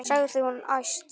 sagði hún æst.